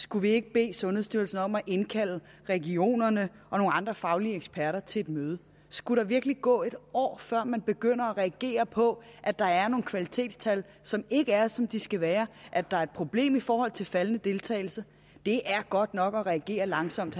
skulle vi ikke bede sundhedsstyrelsen om at indkalde regionerne og nogle andre faglige eksperter til et møde skulle der virkelig gå et år før man begynder at reagere på at der er nogle kvalitetstal som ikke er som de skal være at der er et problem i forhold til faldende deltagelse det er godt nok at reagere langsomt